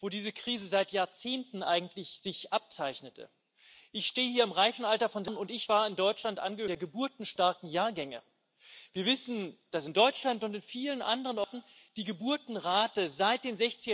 sich nicht mehr lohnt und die Riester Rente beispielsweise sich im Barwert halbiert hat, würde dann gelöst werden, wenn der Staat endlich dafür Sorge trüge, dass wir ordentliche Zinserträge auf unsere Ersparnisse verdienten.